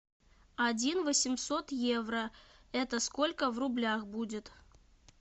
один восемьсот евро это сколько в рублях будет